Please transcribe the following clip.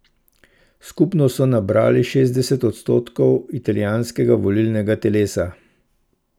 Skupno so nabrali šestdeset odstotkov italijanskega volilnega telesa.